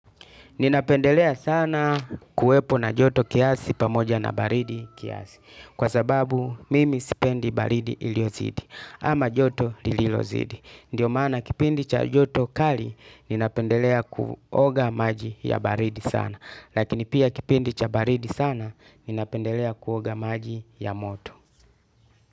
Ninapendelea sana kuwepo na joto kiasi pamoja na baridi kiasi. Kwa sababu mimi sipendi baridi iliyozidi ama joto lililozidi. Ndio maana kipindi cha joto kali ninapendelea kuoga maji ya baridi sana. Lakini pia kipindi cha baridi sana ninapendelea kuoga maji ya moto.